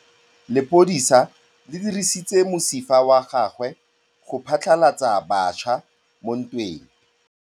Lepodisa le dirisitse mosifa wa gagwe go phatlalatsa batšha mo ntweng.